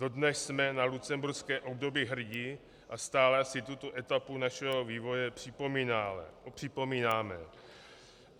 Dodnes jsme na lucemburské období hrdi a stále si tuto etapu našeho vývoje připomínáme.